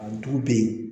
A du be yen